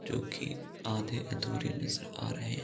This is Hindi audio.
जो की आधे-अधूरे नजर आ रहे है।